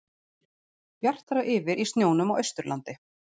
Bjartara yfir í snjónum á Austurlandi